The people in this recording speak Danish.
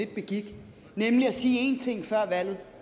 begik nemlig at sige en ting før valget